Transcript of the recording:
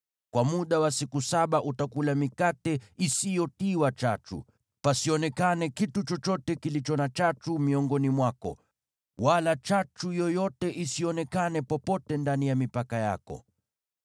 Kwa muda wa siku saba utakula mikate isiyotiwa chachu, pasionekane kitu chochote kilicho na chachu miongoni mwako, wala chachu yoyote isionekane popote ndani ya mipaka yako.